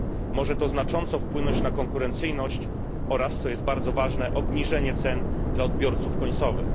Może to znacząco wpłynąć na konkurencyjność oraz, co bardzo ważne, na obniżenie cen dla odbiorców końcowych.